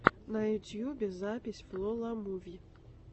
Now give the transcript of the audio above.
на ютубе запись фло ла муви